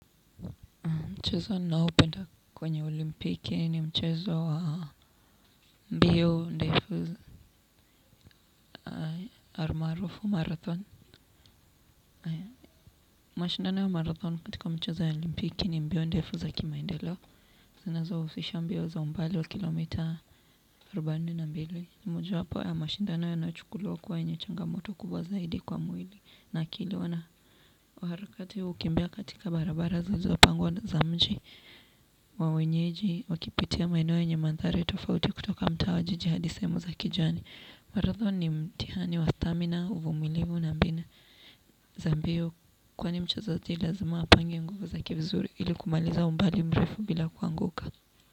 Mchezo ninaopenda kwenye olimpiki ni mchezo wa mbio ndefu almaarufu marathon. Mashindano ya marathon katika mchezo ya olimpiki ni mbio ndefu za kimaendelo. Zinazohusisha mbio za umbali wa kilomita arubaini na mbili. Ni mojawapo ya mashindano yanayochukuliwa kuwa yenye changamoto kubwa zaidi kwa mwili. Na kilona, waharakati hukimbia katika barabara zilizopangwa za mji wa wenyeji, wakipitia maeneno yenye mandhari tofauti kutoka mtaa wa jiji hadi sehemu za kijani marathon ni mtihani wa stamina, uvumiliu na mbinu za mbio, kwani mchezaji lazima apange nguvu zake vizuri ili kumaliza umbali mrefu bila kuanguka.